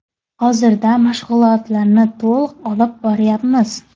Hozirda mashg‘ulotlarni to‘liq olib boryapmiz.